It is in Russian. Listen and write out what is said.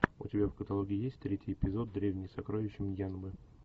у тебя в каталоге есть третий эпизод древние сокровища мьянмы